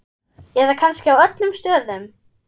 Eða kannski á öllum stöðum?